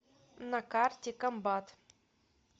на карте комбат